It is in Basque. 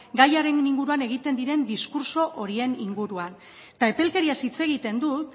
gaiaren inguruan egiten diren diskurtso horien inguruan eta epelkeriaz hitz egiten dut